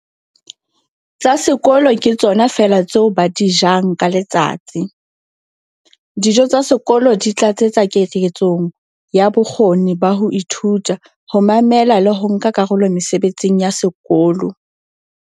Tsa sekolo ke tsona feela tseo ba di jang ka letsatsi. Dijo tsa sekolo di tlatsetsa keketsong ya bokgoni ba ho ithuta, ho mamela le ho nka karolo mesebetsing ya sekolo.